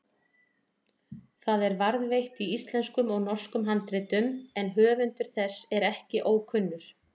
Það er varðveitt í íslenskum og norskum handritum en höfundur þess er ekki kunnur.